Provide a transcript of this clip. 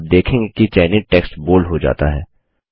आप देखेंगे कि चयनित टेक्स्ट बोल्ड हो जाता है